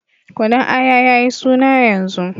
Kunun Aya ya yi suna yanzu.